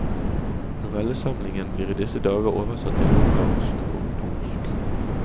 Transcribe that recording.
Novellesamlingen blir i disse dager oversatt til ungarsk og polsk.